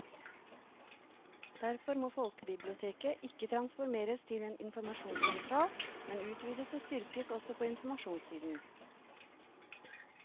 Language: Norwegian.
Derfor må folkebiblioteket ikke transformeres til en informasjonssentral, men utvides og styrkes også på informasjonssiden.